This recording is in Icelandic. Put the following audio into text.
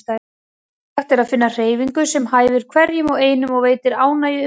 Mikilvægt er að finna hreyfingu sem hæfir hverjum og einum og veitir ánægju um leið.